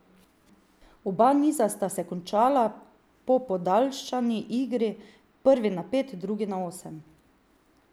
Oba niza sta se končala po podaljšani igri, prvi na pet, drugi na osem.